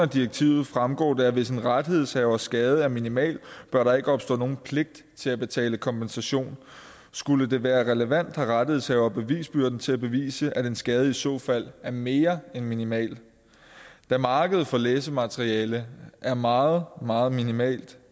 direktivet fremgår det at hvis en rettighedshavers skade er minimal bør der ikke opstå nogen pligt til at betale kompensation skulle det være relevant har rettighedshaver bevisbyrden til at bevise at en skade i så fald er mere end minimal da markedet for læsemateriale er meget meget minimalt